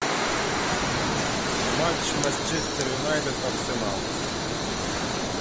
матч манчестер юнайтед арсенал